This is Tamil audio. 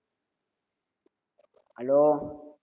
hello